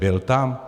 Byl tam?